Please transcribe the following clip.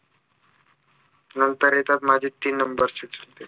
नंतर येतात माझे तीन number चे चुलते